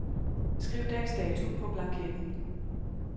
Skriv dags dato på blanketten.